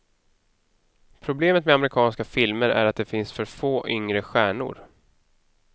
Problemet med amerikanska filmer är att det finns för få yngre stjärnor.